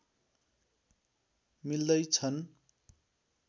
मिल्दै छन्